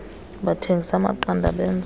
bathengisa amaqanda benza